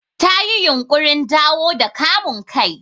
Ta yi yunƙurin dawo da kamun kai.